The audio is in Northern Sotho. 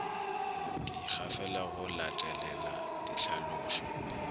ke ikgafela go latelela dihlalošo